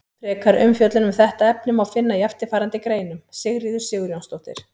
Frekari umfjöllun um þetta efni má finna í eftirfarandi greinum: Sigríður Sigurjónsdóttir.